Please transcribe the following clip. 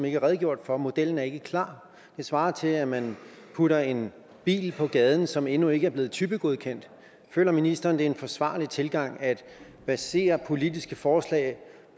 ikke er redegjort for og modellen er ikke klar det svarer til at man putter en bil på gaden som endnu ikke er blevet typegodkendt føler ministeren en forsvarlig tilgang at basere politiske forslag